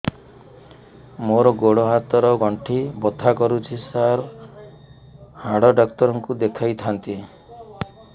ମୋର ଗୋଡ ହାତ ର ଗଣ୍ଠି ବଥା କରୁଛି ସାର ହାଡ଼ ଡାକ୍ତର ଙ୍କୁ ଦେଖାଇ ଥାନ୍ତି